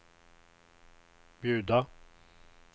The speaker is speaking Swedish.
bjuda